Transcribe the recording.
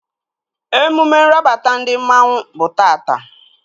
Emume nrabata ndị mmanwu bụ tata